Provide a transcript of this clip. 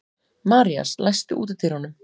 Marías, læstu útidyrunum.